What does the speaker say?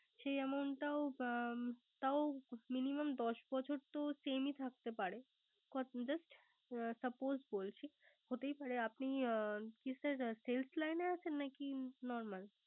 সেই Amount টাও তার Minimum দশ বছর তো Same থাকতে পারে। Just suppose বলছি। হতেই পারে আপনি Sales line আছেন নাকি Normal